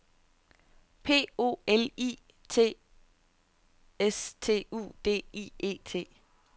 P O L I T S T U D I E T